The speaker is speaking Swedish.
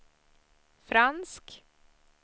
fransk